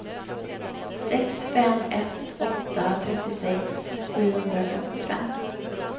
sex fem ett åtta trettiosex sjuhundrafemtiofem